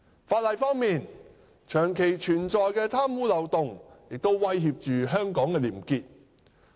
法例方面，長期存在的貪污漏洞亦威脅着香港的廉潔。